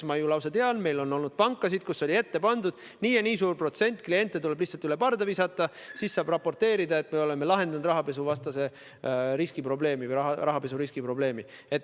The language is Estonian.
Ma ju lausa tean, et meil on olnud pankasid, kus oli ette nähtud, et nii ja nii suur protsent kliente tuleb lihtsalt üle parda visata ning siis saab raporteerida, et oleme lahendanud rahapesuriski probleemi.